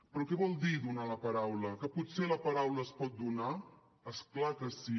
però què vol dir donar la paraula que potser la paraula es pot donar és clar que sí